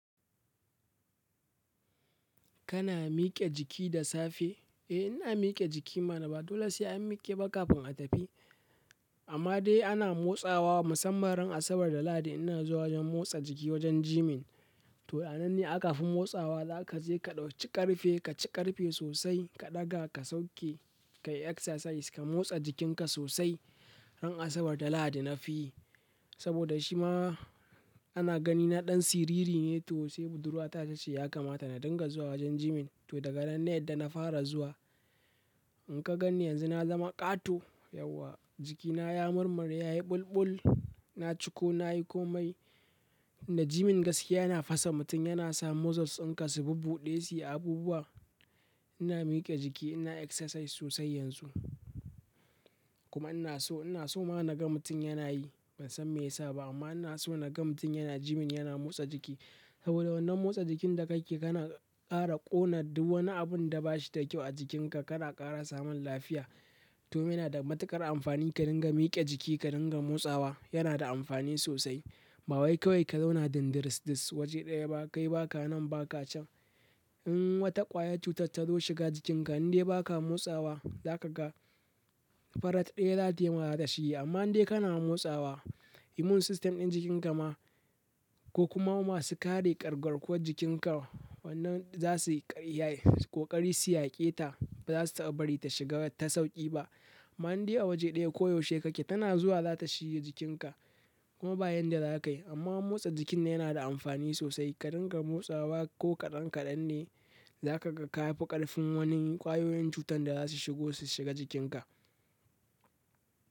Kana mike jiki da safe? Eh ina mike jiki mana ba dole sai an mikebah kafin a tafi amma dai ana motsawa. Musamman ran Asabar da Lahadi ina zuwa wajen motsa jiki wajen gyming. To, a nan ne akafi motsawa zaka je ka ɗauki ƙarfe, ka ci ƙarfe sosai, ka ɗaga ka sauke, ka yi exercise, ka motsa jikinka sosai. Ran Asabar da Lahadi nafi saboda shima ana gani na ɗan siriri ne to sai budurwa ta ce shi ya kamata na dinga zuwa wajen gyming. To daga nan na yadda na fara zuwa. In ka ganni yanzu na zama ƙato. Yauwa jikina ya murmure yayi ɓulɓul. Na ciko, nayi komai. Da gyming gaskiya yana fasa mutum. Yana sa muscles tsinka su bubbuɗe, su yi abubuwa. Ina mike jiki, ina exercise sosai yanzu. Kuma ina so, ina so ma na ga mutum yana yi. Bansan me yasa ba amma inason naga mutum yana gyming yana motsa jiki saboda wannan motsa jikin da kake kana ƙara ƙona duk wani abun da ba shi da kyau a jikinka. Kana ƙara samun lafiya. To, me na da matuƙar amfani ka dinga mike jiki, ka dinga motsawa yana da amfani sosai. Ba wai kawai ka zauna dindiris this waje ɗaya ba, kai ba ka nan ba ka can. In wata ƙwayar cutar ta zo shiga jikinka in dai ba ka motsawa, za ka ga farat ɗaya za tayi ma ta shiyi. Amma in dai kana motsawa, immune system ɗin jikinka ma ko kuma masu kare ƙargarkuwar jikinka wannan za su ƙari ya yi ko ƙari su yaƙe ta. Ba za su bari ta shiga ta sauƙi ba. Amma in dai a waje ɗaya koyaushe kake tana zuwa za ta shiye jikinka kuma bayan da za ka yi. Amma motsa jikin yana da amfani sosai. Ka dinga motsawa ko kaɗan kaɗan ne za ka ga ka kafi ƙarfin wani ƙwayoyin cutar da za su shigo su shiga jikinka.